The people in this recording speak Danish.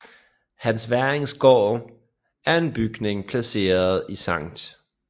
Hans Werrings Gård er en bygning placeret i Sct